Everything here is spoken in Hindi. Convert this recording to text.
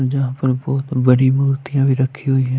यहाँ पर बहुत बड़ी मूर्तियाँं भी रखी हुई हैं।